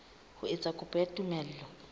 ho etsa kopo ya tumello